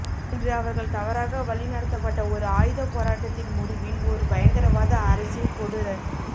இன்று அவர்கள் தவறாக வழிநடத்தப்பட்ட ஒரு ஆயுதப் போராட்டத்தின் முடிவின் ஒரு பயங்கரவாத அரசின் கொடூர